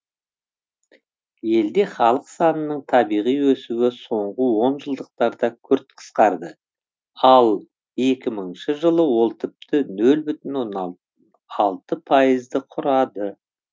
елде халық санының табиғи өсуі соңғы онжылдықтарда күрт қысқарды ал екі мыңыншы жылы ол тіпті нөл бүтін оннан алты пайызды құрады